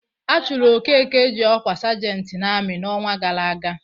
A chụrụ Okeke ji ọkwa sajentị n'amị n'ọnwa gara aga.